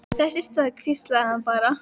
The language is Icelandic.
Þess í stað hvíslaði hann bara